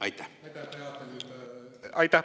Aitäh!